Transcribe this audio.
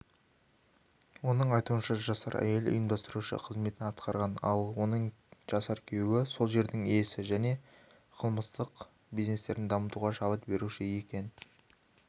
оның айтуынша жасар әйел ұйымдастырушы қызметін атқарған ал оның жасар күйеуі сол жердің иесі және қылмыстық бизнестерін дамытуға шабыт беруші екен